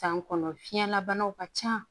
San kɔnɔ fiɲɛla banaw ka ca